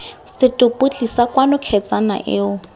setopo tlisa kwano kgetsana eo